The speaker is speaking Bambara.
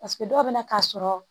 Paseke dɔw bɛ na k'a sɔrɔ